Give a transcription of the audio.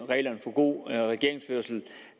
reglerne for god regeringsførelse